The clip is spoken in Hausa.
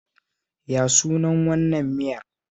Ya sunan wannan miyar?